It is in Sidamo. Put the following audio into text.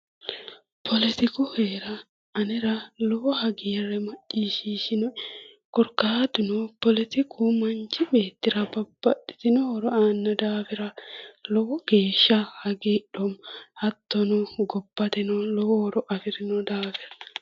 Politiku heera anera lowo hagiire macciishshinoe korkaatuno politiku manchi beettira babbaxitino horo aano daafira lowo geeshsha hagiidhoomma hattono gobbateno lowo horo afirino daafira.